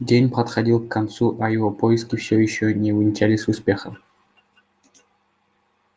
день подходил к концу а его поиски всё ещё не увенчались успехом